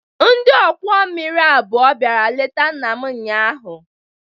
Ndị ọkwọ mmiri abụọ bịara leta nna m ụnyaahụ.